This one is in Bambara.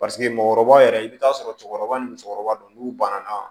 Paseke mɔgɔkɔrɔba yɛrɛ i bɛ taa sɔrɔ cɛkɔrɔba ni musokɔrɔba don n'u banana